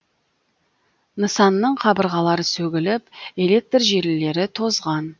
нысанның қабырғалары сөгіліп электр желілері тозған